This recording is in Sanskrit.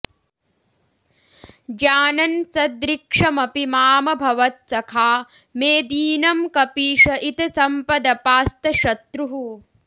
जानन् सदृक्षमपि मामभवत् सखा मे दीनं कपीश इतसम्पदपास्तशत्रुः